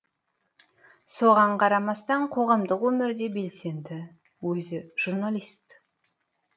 соған қарамастан қоғамдық өмірде белсенді өзі журналист